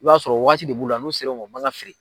I b'a sɔrɔ waati de b'u la n'u sera o ma a man kan ka feere.